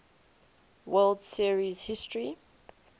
world series history